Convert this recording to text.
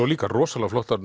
líka rosalega flottar